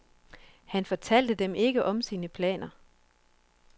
Han fortalte dem ikke om sine planer.